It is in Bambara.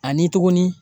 Ani tuguni